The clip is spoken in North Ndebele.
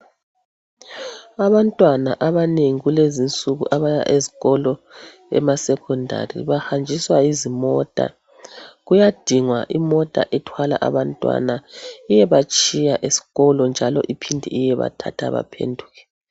Abantwana abanengi kulezi insuku abaya ezikolweni emasecondary bahanjiswa yizimota. Kuyadingwa imota ethwala abantwana iyebatshiya esikolo njalo iphinde iyebathatha baphenduke.